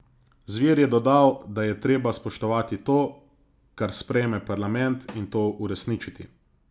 Zver je dodal, da je treba spoštovati to, kar sprejme parlament, in to uresničiti.